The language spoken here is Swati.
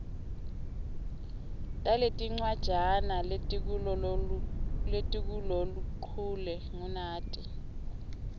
taletincwajana letikuloluchule ngunati